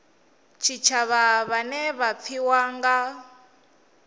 tshitshavha vhane vha pfiwa nga